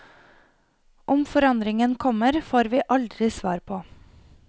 Om forandringen kommer, får vi aldri svar på.